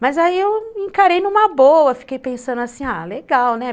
Mas aí eu encarei numa boa, fiquei pensando assim, ah, legal, né?